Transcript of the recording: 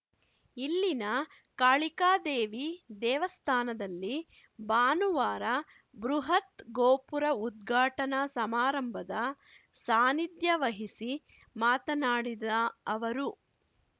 ಇಲ್ಲಿನ ಕಾಳಿಕಾದೇವಿ ದೇವಸ್ಥಾನದಲ್ಲಿ ಭಾನುವಾರ ಬೃಹತ್‌ ಗೋಪುರ ಉದ್ಘಾಟನಾ ಸಮಾರಂಭದ ಸಾನಿಧ್ಯ ವಹಿಸಿ ಮಾತನಾಡಿದ ಅವರು